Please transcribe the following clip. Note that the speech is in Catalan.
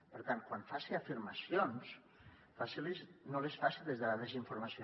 per tant quan faci afirmacions no les faci des de la desinformació